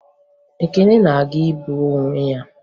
Ekene na-aga igbu onwe ya